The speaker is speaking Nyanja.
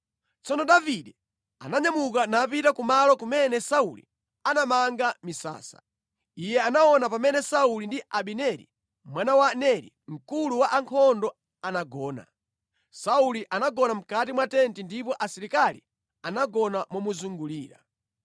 Tsono Davide ananyamuka napita kumalo kumene Sauli anamanga misasa. Iye anaona pamene Sauli ndi Abineri mwana wa Neri mkulu wa ankhondo anagona. Sauli anagona mʼkati mwa tenti ndipo asilikali anagona momuzungulira.